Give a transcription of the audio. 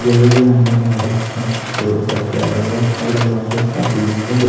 जैसे कि यहां का नजारा कितना खूबसूरत और प्यारा और अच्छा लग रहा है जैसा आप इमेज में देख--